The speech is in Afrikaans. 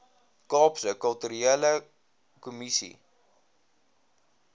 kaapse kulturele kommissie